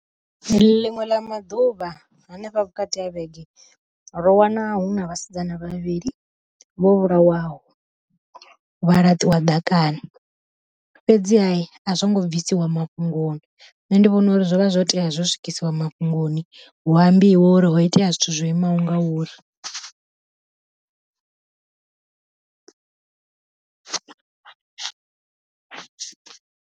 Ḽiṅwe ḽa maḓuvha hanefha vhukati ha vhege ro wana hu na vhasidzana vhavhili vho vhulawaho vha laṱiwa ḓakani, fhedzi ha a zwo ngo bvisiwa mafhungoni nṋe ndi vhona uri zwovha zwo tea zwo swikiswa mafhungoni hu ambiwe uri ho itea zwithu zwo imaho ngauri.